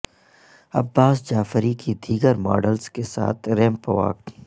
عباس جعفری کی دیگر ماڈلز کے ساتھ ریمپ واک